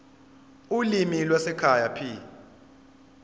ulimi lwasekhaya p